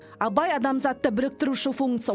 абай адамзатты біріктіруші функция